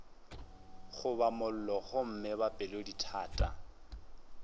goba mollo gomme ba pelodithata